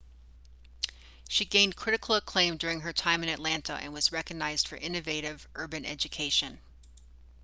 she gained critical acclaim during her time in atlanta and was recognized for innovative urban education